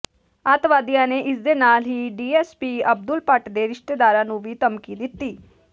ਅੱਤਵਾਦੀਆਂ ਨੇ ਇਸਦੇ ਨਾਲ ਹੀ ਡੀਐਸਪੀ ਅਬਦੁਲ ਭੱਟ ਦੇ ਰਿਸ਼ਤੇਦਾਰਾਂ ਨੂੰ ਵੀ ਧਮਕੀ ਦਿੱਤੀ